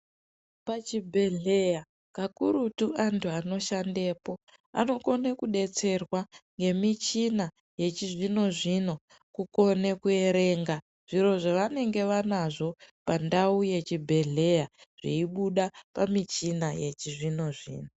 Pachibhehleya kakurutu anhu anoshandepo anokona kudetserwa ngemichina yechizvinozvino kukone kuerenga zviro zvavanenge anazvo pandau yechibhehleya zveibuda pamuchina yechizvinozvino.